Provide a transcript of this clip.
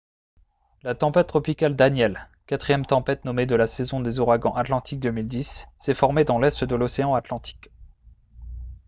la tempête tropicale danielle quatrième tempête nommée de la saison des ouragans atlantiques 2010 s'est formée dans l'est de l'océan atlantique